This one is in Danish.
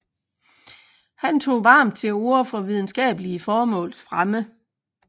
Han tog varmt til orde for videnskabelige formåls fremme